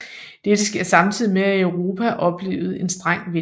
Dette skete samtidigt med at Europa oplevede en streng vinter